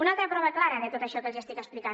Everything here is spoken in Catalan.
una altra prova clara de tot això que els estic explicant